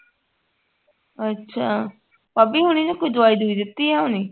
ਅੱਛਾ ਭਾਭੀ ਹੁਣ ਇਹਨੂੰ ਕੋਈ ਦਵਾਈ ਦਵੁਈ ਦਿੱਤੀ ਆ ਹੁਣੇ